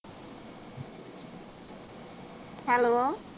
hello